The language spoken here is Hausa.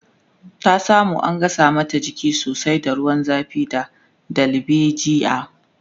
ta samu an gasa mata jiki sosai da ruwan zafi da dalbejia